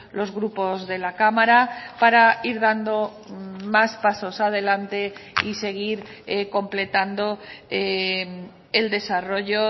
los grupos de la cámara para ir dando más pasos adelante y seguir completando el desarrollo